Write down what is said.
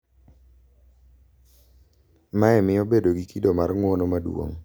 Mae miyo bedo gi kido mar ng’uono maduong’, kendo dwoko piny ywak